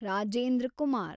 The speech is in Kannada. ರಾಜೇಂದ್ರ ಕುಮಾರ್